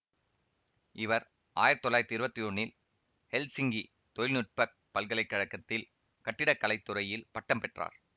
இவர் ஆயிரத்தி தொள்ளாயிரத்தி இருவத்தி ஒன்னில் ஹெல்சிங்கி தொழில்நுட்ப பல்கலை கழகத்தில் கட்டிட கலை துறையில் பட்டம் பெற்றார்